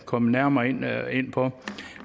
komme nærmere ind på